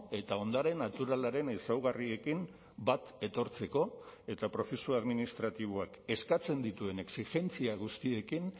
eta ondare naturalaren ezaugarriekin bat etortzeko eta prozesu administratiboak eskatzen dituen exijentzia guztiekin